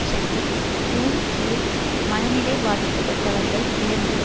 ஷெட்டி க்யூன் கியில் மனநிலை பாதிக்கப்பட்டவர்கள் எழுந்து